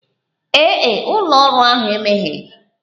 Ee e, ụlọ ọrụ ahụ emegheghi.